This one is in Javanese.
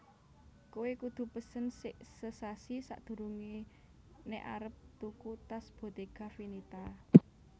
Kowe kudu pesen sek sesasi sakdurunge nek arep tuku tas Bottega Veneta